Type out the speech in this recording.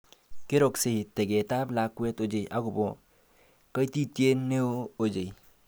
Keroksei teket ab lakwet ochei akobo kaititiet neo ochei